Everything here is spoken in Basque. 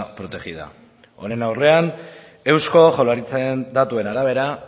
protegida honen aurrean eusko jaurlaritzaren datuen arabera